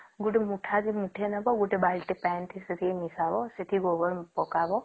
ଗୋଟେ ମୁଠା କେ ମୁଠେ ନବ ଗୋଟେ ବାଲଟି ପାଣୀ ନବ ସେତକୀ ମିସାବ ସେଠି ଗୋବର ପକଵା